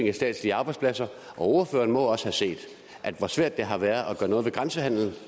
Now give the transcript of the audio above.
af statslige arbejdspladser og ordføreren må også have set hvor svært det har været at gøre noget ved grænsehandelen